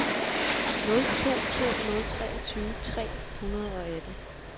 nul to to nul treogtyve tre hundrede og atten